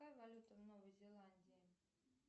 какая валюта в новой зеландии